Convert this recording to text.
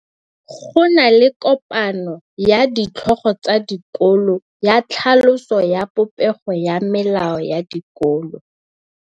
Go na le kopanô ya ditlhogo tsa dikolo ya tlhaloso ya popêgô ya melao ya dikolo.